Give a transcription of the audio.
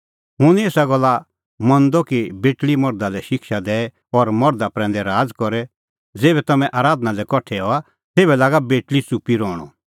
हुंह निं एसा गल्ला मंदअ कि बेटल़ी मर्धा लै शिक्षा दैए और मर्धा प्रैंदै राज़ करे ज़ेभै तम्हैं आराधना लै कठा हआ तेभै लागा बेटल़ी च़ुप्पी रहणअ